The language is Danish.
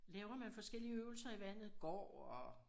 Laver man forskellige øvelser i vandet går og